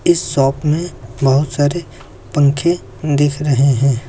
इस शॉप में बहोत सारे पंखे दिख रहे हैं।